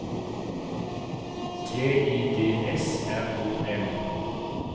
T I D S R O M